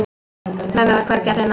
Mömmu var hvergi að finna.